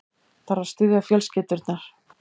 Þarf að styðja fjölskyldurnar